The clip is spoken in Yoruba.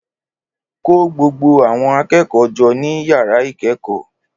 Kó gbogbo àwọn akẹ́kọ̀ọ́ jọ ní yàrá ìkẹ́kọ̀ọ́